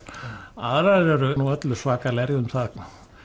aðrar eru nú öllu svakalegri um það